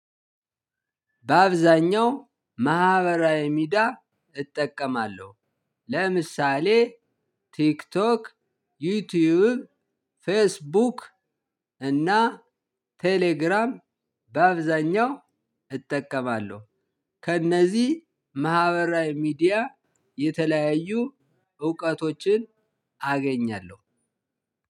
በአብዛኛው ማህበራዊ ሚድያ እጠቀማለሁ። ለምሳሌ ቲክቶክ ዩቲዩብ ፌስቡክ እና ቴሌግራም በአብዛኛው እጠቀማለሁ። ከእነዚህ ማህበራዊ ሚዲያ የተለያዩ እውቀቶችን አገኛለሁ።